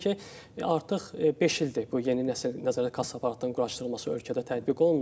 Yəni ki, artıq beş ildir bu yeni nəsil nəzarət kassa aparatlarının quraşdırılması ölkədə tətbiq olunur.